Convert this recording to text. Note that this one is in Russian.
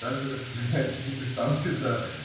так же как твоя антидепрессанты за